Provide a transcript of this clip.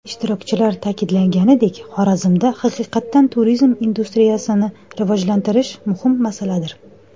Ishtirokchilar ta’kidlaganidek, Xorazmda haqiqatan turizm industriyasini rivojlantirish muhim masaladir.